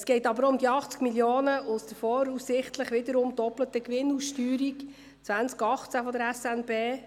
Es geht aber auch um die 80 Mio. Franken aus der voraussichtlich wiederum doppelten Gewinnausschüttung 2018 der SNB.